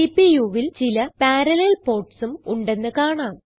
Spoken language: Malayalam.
CPUവിൽ ചില പറല്ലേൽ portsഉം ഉണ്ടെന്ന് കാണാം